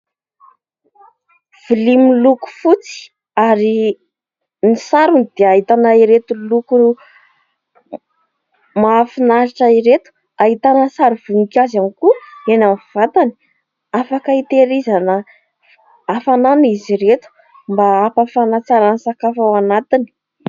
Vilia miloko fotsy ary ny sarony dia ahitana ireto loko mahafinaritra ireto. Ahitana sary voninkazo ihany koa eny amin'ny vatany afaka hitehirizana hafanana izy ireto mba hampafana tsara ny sakafo ao anatiny.